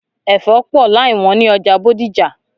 Ẹfọ pọ láì wọn ni ọjà Bódìjà.